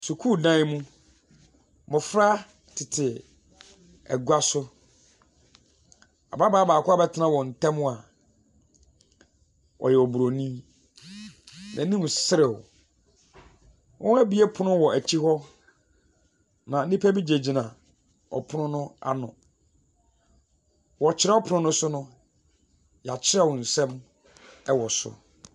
Sukuu dan mu, mmɔfra tete egua so, ababaa baako abɛtena wɔn tɛm a ɔyɛ obronii. Ne nim srew. Wɔn ebue pono wɔ ɛkyi hɔ na nipa bi gyine gyina ɔpono no ano. Wɔ kyerew pono no so no, yatwerew nsɛm wɔ so.